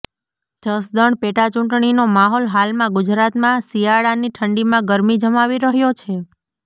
જસદણ પેટા ચુંટણીનો માહોલ હાલમાં ગુજરાતમાં શિયાળાની ઠંડીમાં ગરમી જમાવી રહ્યો છે